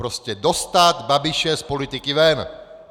Prostě dostat Babiše z politiky ven!